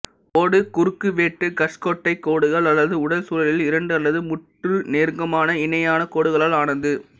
ஓடு குறுக்குவெட்டு கஷ்கொட்டை கோடுகள் அல்லது உடல் சுழலில் இரண்டு அல்லது மூன்று நெருக்கமான இணையான கோடுகளால் ஆனது